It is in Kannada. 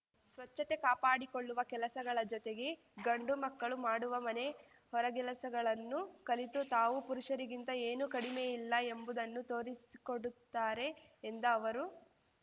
ಸ್ವಚ್ಛತೆ ಕಾಪಾಡಿಕೊಳ್ಳುವ ಕೆಲಸಗಳ ಜೊತೆಗೆ ಗಂಡು ಮಕ್ಕಳು ಮಾಡುವ ಮನೆ ಹೊರಗೆಲಸಗಳನ್ನೂ ಕಲಿತು ತಾವು ಪುರುಷರಿಗಿಂತ ಏನೂ ಕಡಿಮೆಯಿಲ್ಲ ಎಂಬುದನ್ನು ತೋರಿಸಿಕೊಡುತ್ತಾರೆ ಎಂದ ಅವರು